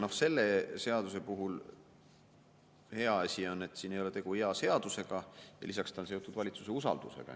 Selle seaduse puhul on hea asi, et siin ei ole tegu hea seadusega ja lisaks ta on seotud valitsuse usaldusega.